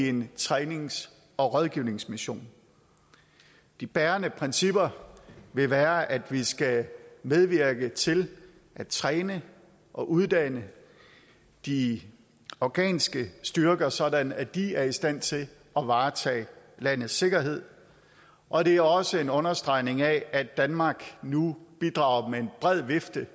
en trænings og rådgivningsmission de bærende principper vil være at vi skal medvirke til at træne og uddanne de afghanske styrker sådan at de er i stand til at varetage landets sikkerhed og det er også en understregning af at danmark nu bidrager med en bred vifte